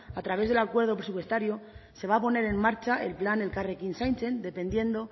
a través del acuerdo presupuestario se va a poner en marcha el plan elkarrekin zaintzen dependiendo